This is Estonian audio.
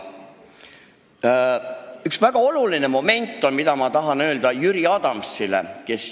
On üks väga oluline moment, mida ma tahan Jüri Adamsile öelda.